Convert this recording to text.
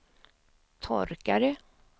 torkare